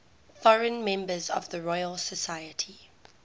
foreign members of the royal society